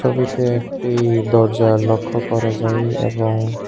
ছবিতে একটি দরজা লক্ষ্য করা যাই এবং--